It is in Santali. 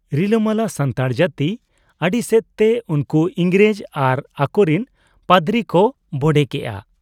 ᱨᱤᱞᱟᱹᱢᱟᱞᱟ ᱥᱟᱱᱛᱟᱲ ᱡᱟᱹᱛᱤ ᱟᱹᱰᱤᱥᱮᱫ ᱛᱮ ᱩᱱᱠᱩ ᱤᱝᱨᱮᱡᱽ ᱟᱨ ᱟᱠᱚᱨᱤᱱ ᱯᱟᱫᱽᱨᱤ ᱠᱚ ᱵᱚᱰᱮ ᱠᱮᱜ ᱟ ᱾